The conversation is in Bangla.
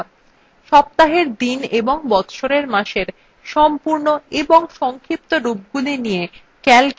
সপ্তাহের দিন এবং বচ্ছরের মাসের সম্পূর্ণ এবং সংক্ষিপ্ত রূপগুলি নিয়ে calcএ তালিকা আছে